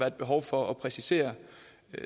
et behov for at præcisere